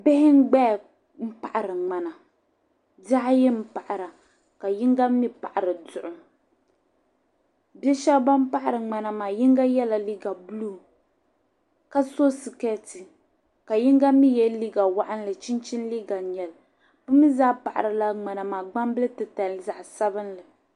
bihi n-gbaya m-paɣiri ŋmana bihi ayi m-paɣira ka yiŋga mi paɣiri duɣu bi' shɛba ban paɣiri ŋmana maa yiŋga yɛla liiga buluu ka so sikeeti ka yiŋga mi ye liiga waɣinli chinchini liiga n-nyɛ li bɛ zaa paɣirila ŋmana maa gbambil' titali zaɣ' sabilinli